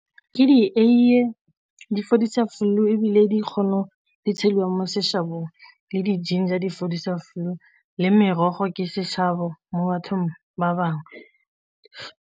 Ke dieiye di fodisa flu ebile di kgono di tshelwang mo seshabong, le di-ginger di fodisa flu le merogo ke seshabo mo bathong ba bangwe.